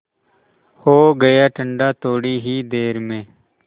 हो गया ठंडा थोडी ही देर में